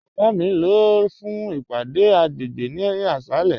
Baba mi n lọ fún ìpàdé agbègbè ni àṣàlẹ̀.